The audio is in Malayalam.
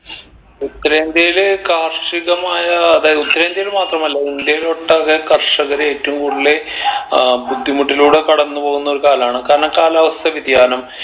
ഉത്തരേന്ത്യയിൽ കാർഷികമായ അതായത് ഉത്തരേന്ത്യയിൽ മാത്രമല്ല ഇന്ത്യയിൽ ഒട്ടാകെ കർഷകർ ഏറ്റവും കൂടുതൽ ഏർ ബുദ്ധിമുട്ടിലൂടെ കടന്ന് പോകുന്ന ഒരു കാലാണ് കാരണം കാലാവസ്ഥ വ്യതിയാനം